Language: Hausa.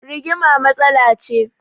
Rigima matsala ce